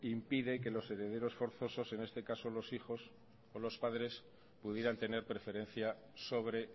impide que los herederos forzosos en este caso los hijos o los padres pudieran tener preferencia sobre